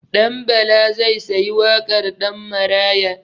Ɗanbala zai sayi wakar Ɗanmaraya.